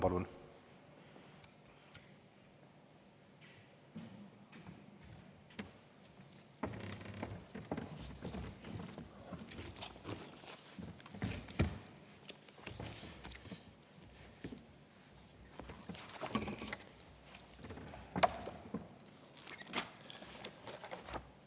Palun!